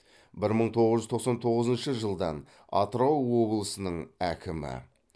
бір мың тоғыз жүз тоқсан тоғызыншы жылдан атырау облысының әкімі